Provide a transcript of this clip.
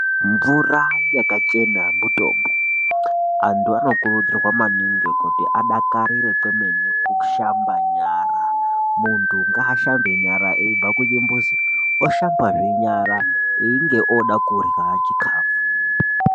Mvura yakachena mutombo. Antu anokurudzirwa maningi kuti adakarire kwemene kushamba nyara. Muntu ngaashambe nyara eibva kuchimbuzi, oshambazve einge ooda kurya chikafu.